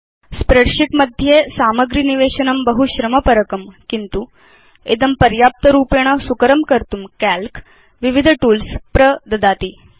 spreadsheet मध्ये सामग्री निवेशनं बहु श्रम परकं किन्तु इदं पर्याप्त रूपेण सुकरं कर्तुं काल्क विविध टूल्स् प्रददाति